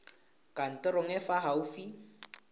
kantorong e e fa gaufi